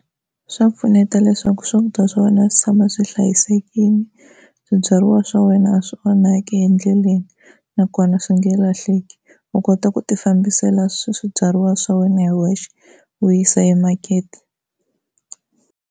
Swa pfuneta leswaku swakudya swa wena swi tshama swi hlayisekile swibyariwa swa wena swi onhaka endleleni nakona swi nge lahleki u kota ku ti fambisela swibyariwa swa wena hi wexe u yisa emakete.